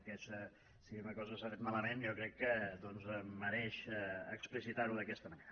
vull dir que si una cosa s’ha fet malament jo crec que doncs mereix explicitar ho d’aquesta manera